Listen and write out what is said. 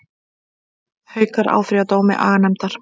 Haukar áfrýja dómi aganefndar